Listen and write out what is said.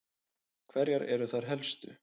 Hverjar eru þær helstu?